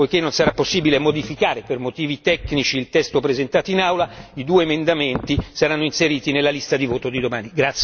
Poiché non sarà possibile modificare per motivi tecnici il testo presentato in Aula, i due emendamenti saranno inseriti nella lista di voto di domani.